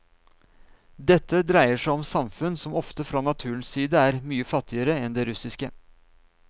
Dette dreier seg om samfunn som ofte fra naturens side er mye fattigere enn det russiske.